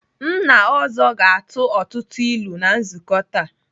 Nna ọzọ ga-atụ ọtụtụ ilu na nzukọ taa.